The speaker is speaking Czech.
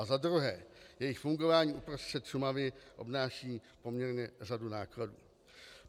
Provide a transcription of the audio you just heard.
A za druhé, jejich fungování uprostřed Šumavy obnáší poměrně řadu nákladů.